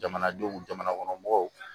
Jamanadenw jamanakɔnɔmɔgɔw